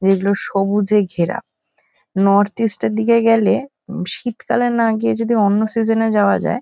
যেগুলো সবুজে ঘেরা। নর্থ ইস্ট -এর দিকে গেলে উম শীতকালে না গিয়ে যদি অন্য সিজন -এ যাওয়া যায়--